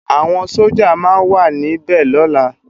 Awòn Sójá má wà ni bè lòlá